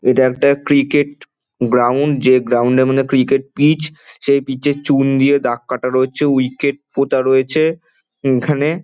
এইটা একটা cricket ground. যে গ্রাউন্ডের এর মর্ধে ক্রিকেট পিচ সেই পিচ চুন দিয়া দাগ কাটা আছে। উইকেট পোতা রয়েছে এইখানে।